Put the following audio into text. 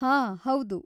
ಹಾ, ಹೌದು.